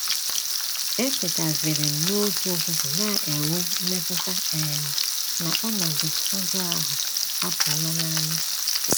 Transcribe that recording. Etetaziri m n’otu ụtụtụ na - enwe mmetụta um na ọnọdụ ọjọọ ahụ apụọla n’anya.